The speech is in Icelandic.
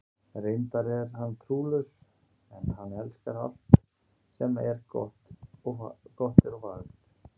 Reyndar er hann trúlaus, en hann elskar alt sem gott er og fagurt.